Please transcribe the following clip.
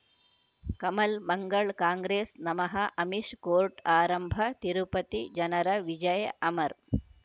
ಕಮಲ್ ಮಂಗಳ್ ಕಾಂಗ್ರೆಸ್ ನಮಃ ಅಮಿಷ್ ಕೋರ್ಟ್ ಆರಂಭ ತಿರುಪತಿ ಜನರ ವಿಜಯ ಅಮರ್